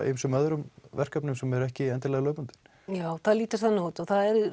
ýmsum öðrum verkefnum sem eru ekki endilega lögbundin já það lítur þannig út og það er